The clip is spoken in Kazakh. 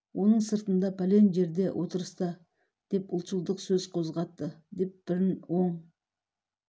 оның сыртында пәлен жерде отырыста деп ұлтшылдық сөз қоздатты деп бірін оң